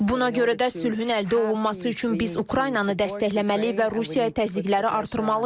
Buna görə də sülhün əldə olunması üçün biz Ukraynanı dəstəkləməli və Rusiyaya təzyiqləri artırmalıyıq.